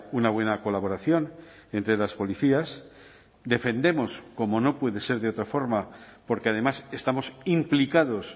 una buena colaboración entre las policías defendemos como no puede ser de otra forma porque además estamos implicados